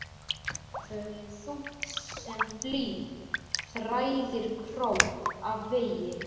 Þetta höfuð þungt sem blý þræðir krók af vegi.